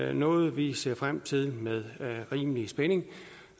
er noget vi ser frem til med rimelig spænding